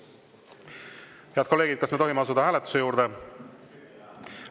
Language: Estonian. Head kolleegid, kas me tohime asuda hääletuse juurde?